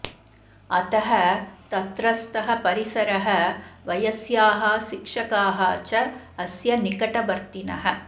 अतः तत्रस्थः परिसरः वयस्याः शिक्षकाः च अस्य निकटवर्तिनः